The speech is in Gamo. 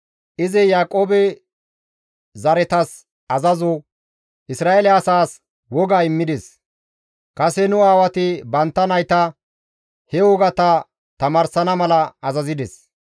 Izi Yaaqoobe zaretas azazo, Isra7eele asaas woga immides; kase nu aawati bantta nayta he wogata tamaarsana mala azazides.